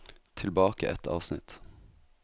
Tilbake ett avsnitt